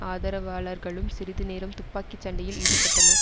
ஆதரவாளர்களும் சிறிது நேரம் துப்பாக்கி சண்டையில் ஈடுபட்டனர்